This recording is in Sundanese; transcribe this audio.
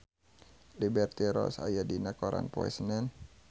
Liberty Ross aya dina koran poe Senen